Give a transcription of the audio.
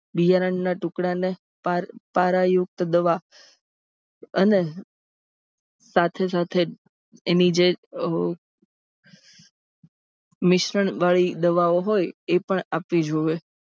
બિયારણ ના ટુકડાને પારાયુક્ત દવા અને સાથે સાથે એની જે મિશ્રણવાળી દવાઓ હોય એ પણ આપવી જોઈએ.